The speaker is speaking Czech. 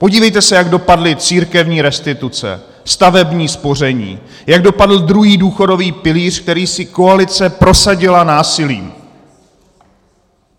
Podívejte se, jak dopadly církevní restituce, stavební spoření, jak dopadl druhý důchodový pilíř, který si koalice prosadila násilím.